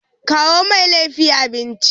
Kawo Mai laifi abinci.